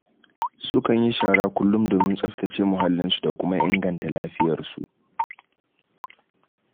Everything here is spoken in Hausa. Sukan yi shara kullum domin tsaftace muhallinsu da kuma ingata lafiyarsu.